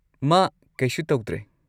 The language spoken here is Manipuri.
ꯃꯥ ꯀꯩꯁꯨ ꯇꯧꯗ꯭ꯔꯦ꯫